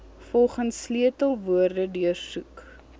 volgens sleutelwoorde deursoek